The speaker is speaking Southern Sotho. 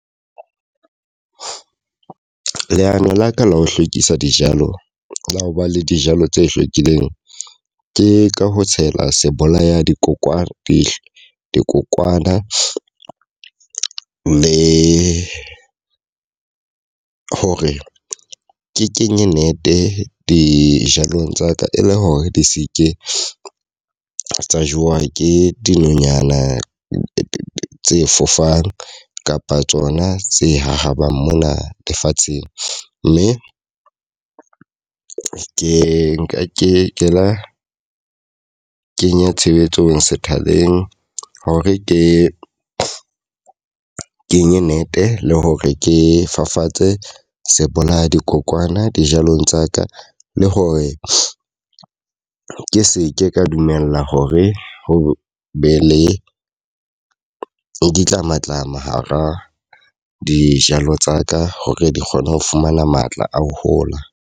Leano la ka la ho hlwekisa dijalo, tsa ho ba le dijalo tse hlwekileng. Ke ka ho tshela se bolaya dikokwana leihlo dikokwana. Le hore ke kenye nete dijalong tsa ka e le hore di se ke tsa jewa ke dinonyana tse fofang kapa tsona tse hahabang mona lefatsheng. Mme ke nka ke ke lo kenya tshebetsong sethaleng hore ke kenye nete le hore ke fafatse se bolaya dikokwana dijalong tsa ka. Le hore ke seke ka dumela hore ho be le ditlamatlama hara dijalo tsa ka. Hore di kgone ho fumana matla a ho hola.